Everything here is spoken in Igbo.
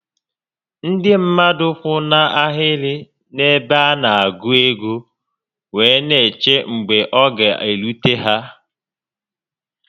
Ndị mmadụ kwụ na ahịrị n'ebe a na-agụ ego wee n'eche mgbe ọ ga-erute ha